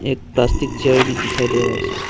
एक plastic chair भी दिखाई दे रहा है इसमें।